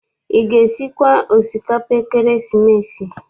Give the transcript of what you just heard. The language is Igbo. Ị ga- esikwa osikapa ekeresimesi?